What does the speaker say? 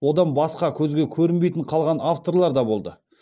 одан басқа көзге көрінбейтін қалған авторлар да болды